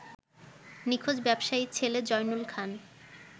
নিখোঁজ ব্যবসায়ীর ছেলে জয়নুল খান